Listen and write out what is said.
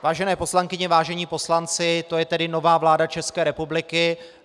Vážené poslankyně, vážení poslanci, to je tedy nová vláda České republiky.